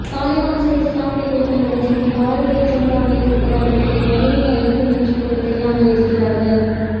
தாலிபானிச இஸ்லாமிய குழுக்களுடன் சேர்ந்து பரதிய ஜனதாவை எதிர்ப்பது அவர்களுக்கு வலிமையை அளிக்கும் என்றுகூட தெரியாமலிருக்கிறார்கள்